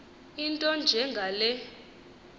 into enje ngale